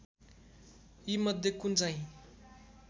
यीमध्ये कुन चाहिँ